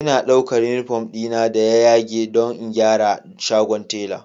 Ina ɗaukar uniform dina da ya yage don in gyara a shagon tela